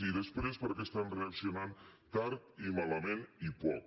i després perquè estan reaccionant tard i malament i poc